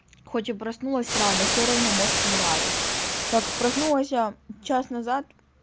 хоть и проснулась рано всё равно мозг не варит так проснулась я час назад